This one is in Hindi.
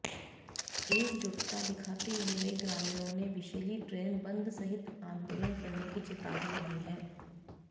एकजुटता दिखाते हुए ग्रामीणों ने विषैली ड्रेन बंद सहित आंदोलन करने की चेतावनी दी है